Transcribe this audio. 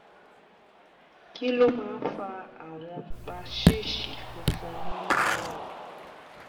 kí ló máa ń fa àwọn paṣíìṣì funfun nínú ẹnu?